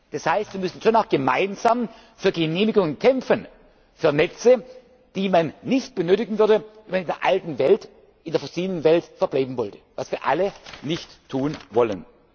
Paris. Das heißt Wir müssen schon auch gemeinsam für Genehmigungen kämpfen für Netze, die man nicht benötigen würde, wenn man in der alten Welt, in der fossilen Welt verbleiben wollte, was wir alle nicht